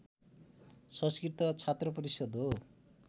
संस्कृत छात्रपरिषद् हो